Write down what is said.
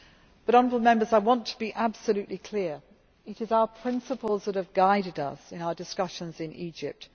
But I want to be absolutely clear it is our principles that have guided us in our discussions in Egypt.